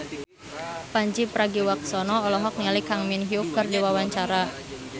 Pandji Pragiwaksono olohok ningali Kang Min Hyuk keur diwawancara